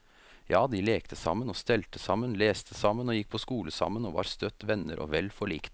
Ja, de lekte sammen og stelte sammen, leste sammen og gikk på skole sammen, og var støtt venner og vel forlikt.